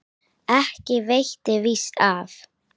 Ekki veitti víst af.